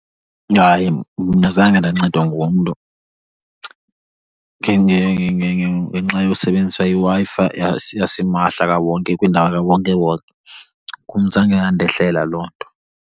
Hayi, mna zange ndancedwa ngumntu ngenxa yosebenzisa iWi-Fi yasimahla kwindawo kawonkewonke. Kum zange yandahlela loo nto.